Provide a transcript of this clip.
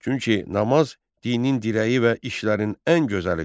Çünki namaz dinin dirəyi və işlərin ən gözəlidir.